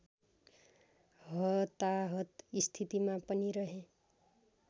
हताहत स्थितिमा पनि रहे